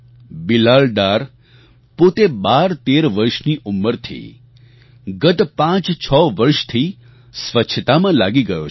બિલાલ ડાર પોતે ૧૨૧૩ વર્ષની ઉંમરથી ગત ૫૬ વર્ષથી સ્વચ્છતામાં લાગી ગયો છે